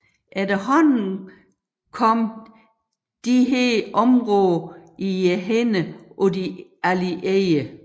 Efterhånden kom disse områder i hænderne på de Allierede